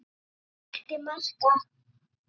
Hann blekkti marga.